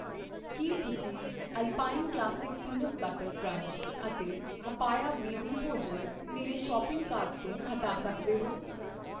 ਕਿ ਤੁਸੀਂ Alpine classic peanut butter crunch ਅਤੇ ਹਪਪਆ ਬੇਬੀ ਭੋਜਨ ਮੇਰੇ ਸ਼ੋਪਿੰਗ ਕਾਰਟ ਤੋਂ ਹਟਾ ਸੱਕਦੇ ਹੋ ?